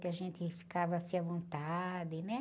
Que a gente ficava assim à vontade, né?